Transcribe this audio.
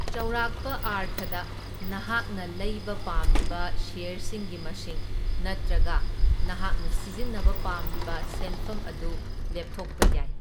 ꯆꯥꯎꯔꯥꯛꯄ ꯑꯥꯔꯊꯗ, ꯅꯍꯥꯛꯅ ꯂꯩꯕ ꯄꯥꯝꯂꯤꯕ ꯁꯦꯌꯔꯁꯤꯡꯒꯤ ꯃꯁꯤꯡ ꯅꯠꯇ꯭ꯔꯒ ꯅꯍꯥꯛꯅ ꯁꯤꯖꯤꯟꯅꯕ ꯄꯥꯝꯂꯤꯕ ꯁꯦꯟꯐꯝ ꯑꯗꯨ ꯂꯦꯞꯊꯣꯛꯄ ꯌꯥꯏ꯫